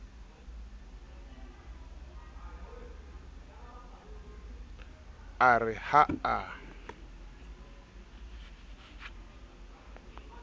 a re ha a kgathatse